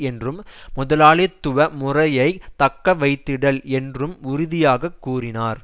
என்றும் முதலாளித்துவமுறையைத் தக்கவைத்திடல் என்றும் உறுதியாக கூறினார்